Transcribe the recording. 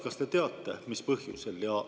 Kas te teate, mis põhjusel?